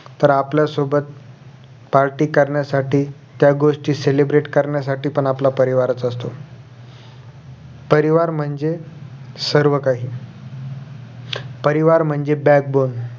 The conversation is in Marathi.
तर आपल्या सोबत party करण्यासाठी त्या गोष्टी celebrate करण्यासाठी पण आपला परिवाराचं असतो परिवार म्हणजे सर्वकाही परिवार म्हणजे backbone